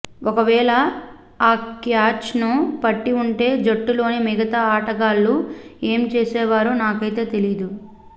ఒకవేళ ఆ క్యాచ్ను పట్టి ఉంటే జట్టులోని మిగతా ఆటగాళ్లు ఏం చేసేవారో నాకైతే తెలీదు